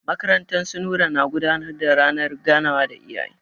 Makarantar su Nura na gudanar da ranar ganawa da iyaye.